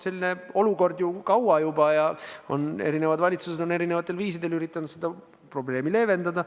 Selline olukord on olnud juba kaua ja eri valitsused on erinevatel viisidel üritanud seda probleemi leevendada.